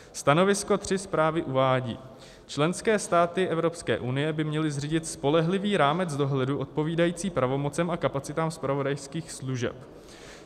Stanovisko 3 zprávy uvádí: "Členské státy EU by měly zřídit spolehlivý rámec dohledu odpovídající pravomocem a kapacitám zpravodajských služeb.